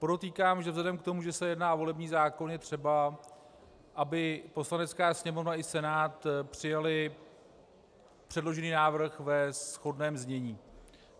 Podotýkám, že vzhledem k tomu, že se jedná o volební zákon, je třeba, aby Poslanecká sněmovna i Senát přijaly předložený návrh ve shodném znění.